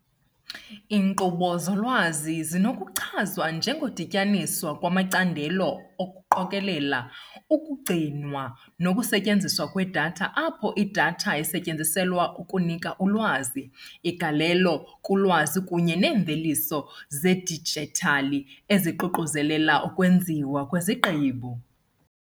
Iinkqubo zolwazi zinokuchazwa njengokudityaniswa kwamacandelo okuqokelela, ukugcinwa nokusetyenzwa kwedatha apho idatha isetyenziselwa ukunika ulwazi, igalelo kulwazi kunye neemveliso zedijithali eziququzelela ukwenziwa kwezigqibo .